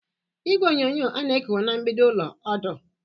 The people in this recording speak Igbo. Igwe onyonyo a na-ekowe na mgbidi ụlọ ọdụ?